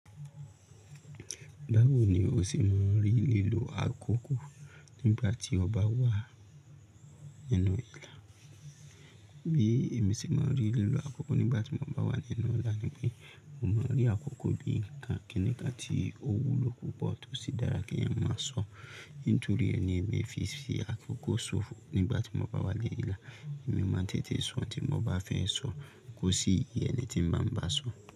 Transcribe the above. Báwo ni o ṣe máa n rí lílo àkókò nígbà tí o bá wà nínú ìlà? Bí èmi ṣe máa rí lílo àkókò nígbà tí mo bá wà nínú ìlà ni pé mo máa rí àkókò bí i nǹkan kińikàn tí ó wúlò púpọ̀ tó sì dára kí èèyàn máa sọ. Nítorí ẹni èmi fi ṣe àkókò ṣóòfù nígbà tí mo bá wà ni ìlà, èmi máa tètè sọ ohun tí mo bá fẹ́ sọ, kò sí iye ẹni tí ń bá mi bá sọ.